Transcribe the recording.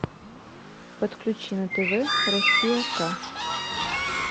подключи на тв россия к